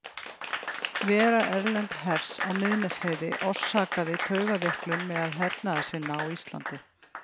Vera erlends hers á Miðnesheiði orsakaði taugaveiklun meðal hernaðarsinna á Íslandi.